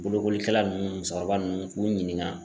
Bolokolikɛla nunnu musokɔrɔba nunnu k'u ɲininga